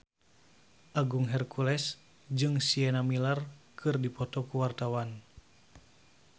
Agung Hercules jeung Sienna Miller keur dipoto ku wartawan